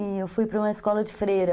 E eu fui para uma escola de freira.